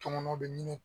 Tɔŋɔnɔ bɛ ɲini